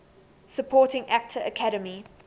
supporting actor academy